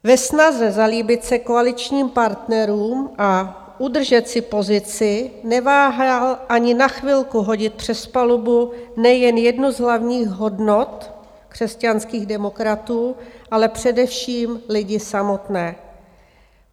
Ve snaze zalíbit se koaličním partnerům a udržet si pozici neváhal ani na chvilku hodit přes palubu nejen jednu z hlavních hodnot křesťanských demokratů, ale především lidi samotné.